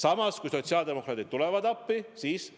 Aga kui sotsiaaldemokraadid tulevad appi, siis on.